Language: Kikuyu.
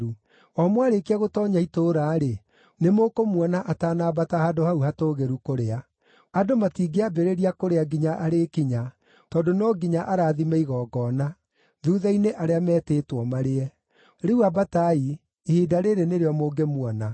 O mwarĩkia gũtoonya itũũra-rĩ, nĩmũkũmuona atanambata handũ hau hatũũgĩru kũrĩa. Andũ matingĩambĩrĩria kũrĩa nginya arĩkinya, tondũ no nginya arathime igongona; thuutha-inĩ arĩa metĩtwo marĩe. Rĩu ambatai; ihinda rĩĩrĩ nĩrĩo mũngĩmuona.”